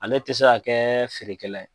Ale tɛ se ka kɛ feere kɛ la ye.